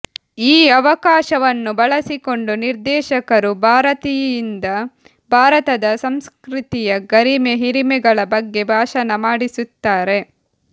ಈ ಅವಕಾಶವನ್ನು ಬಳಸಿಕೊಂಡು ನಿರ್ದೇಶಕರು ಭಾರತಿಯಿಂದ ಭಾರತದ ಸಂಸ್ಕೃತಿಯ ಗರಿಮೆ ಹಿರಿಮೆಗಳ ಬಗ್ಗೆ ಭಾಷಣ ಮಾಡಿಸುತ್ತಾರೆ